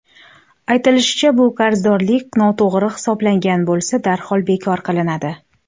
Aytilishicha, bu qarzdorlik noto‘g‘ri hisoblangan bo‘lsa, darhol bekor qilinadi.